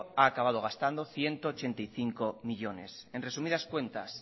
ha acabado gastando ciento ochenta y cinco millónes en resumidas cuentas